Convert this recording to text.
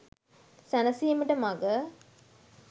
සැනසීමට මග